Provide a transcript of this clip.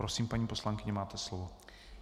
Prosím, paní poslankyně, máte slovo.